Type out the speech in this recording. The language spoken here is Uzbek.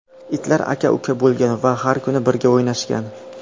Itlar aka-uka bo‘lgan va har kuni birga o‘ynashgan.